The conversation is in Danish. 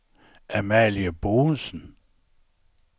Amalie Boesen